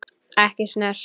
Ekki snert.